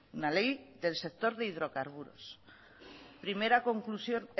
una ley del sector de hidrocarburos primera conclusión